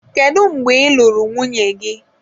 When did you marry your wife?